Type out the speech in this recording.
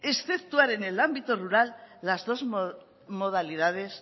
exceptuar en el ámbito rural las dos modalidades